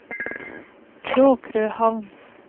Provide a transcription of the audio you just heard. Kråkrøhamn